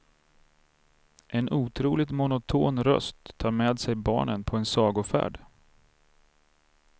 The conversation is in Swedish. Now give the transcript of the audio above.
En otroligt monoton röst tar med sig barnen på en sagofärd.